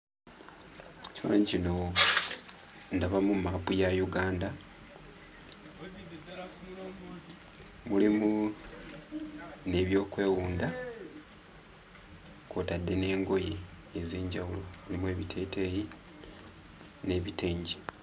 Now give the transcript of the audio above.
Ekifaananyi kino ndabamu maapu ya Uganda, mulimu n'ebyokwewunda kw'otadde n'engoye ez'enjawulo. Mulimu ebiteeteeyi n'ebitengi.